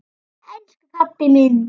Jæja, elsku pabbi minn.